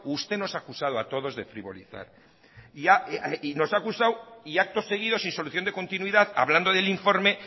usted nos ha acusado a todos de frivolizar y nos ha acusado y acto seguido sin solución de continuidad hablando del informe